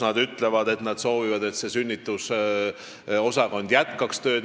Nad ütlevad, et nad soovivad, et sünnitusosakond jätkaks tööd.